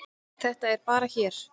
Þetta er bara hér.